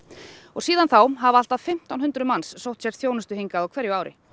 og síðan þá hafa allt að fimmtán hundruð manns sótt sér þjónustu hingað á hverju ári